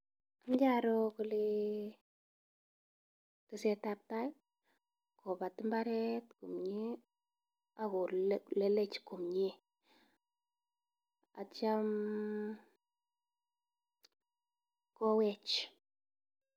Amache aro kole tesetabtai, kobat mbaret komnye ago lelech komnye, acham kowech.